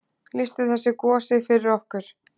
Lýstu þessu gosi fyrir okkur.